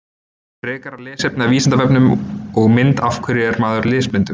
Frekara lesefni á Vísindavefnum og mynd Af hverju er maður lesblindur?